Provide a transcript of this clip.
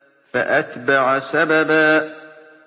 فَأَتْبَعَ سَبَبًا